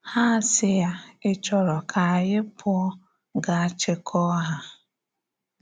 Há asị yá, ‘Ị̀ chọ́rọ̀ ka ányị pụọ̀ gaa chịkọ̀ọ̀ hà?’